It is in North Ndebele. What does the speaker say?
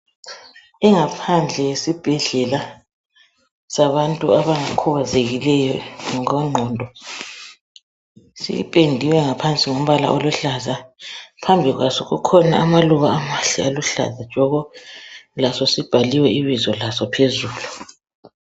Ingaphandle yesibhedlela sabantu abakhubazekileyo ngokwengqondo sipendiwe ngaphansi ngombala oluhlaza phambi kwaso kukhona amaluba amahle aluhlaza tshoko laso sibhaliwe ibizo laso phezulu.